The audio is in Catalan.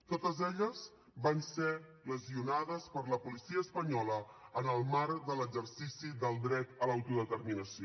totes elles van ser lesionades per la policia espanyola en el marc de l’exercici del dret a l’autodeterminació